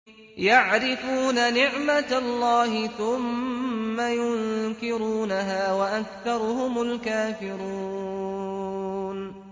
يَعْرِفُونَ نِعْمَتَ اللَّهِ ثُمَّ يُنكِرُونَهَا وَأَكْثَرُهُمُ الْكَافِرُونَ